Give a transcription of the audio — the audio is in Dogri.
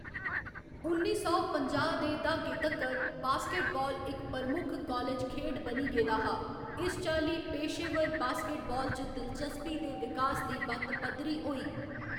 उन्नी सौ पंजाह्‌ दे द्हाके तक्कर, बास्केटबाल इक प्रमुख कालेज खेढ बनी गेदा हा, इस चाल्ली पेशेवर बास्केटबाल च दिलचस्पी दे विकास दी बत्त पद्धरी होई।